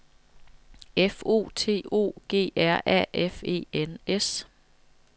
F O T O G R A F E N S